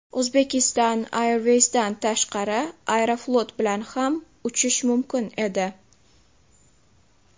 Uzbekistan airways’dan tashqari ‘Aeroflot’ bilan ham uchish mumkin edi.